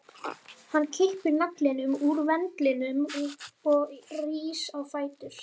Hann kippir naglanum úr ventlinum og rís á fætur.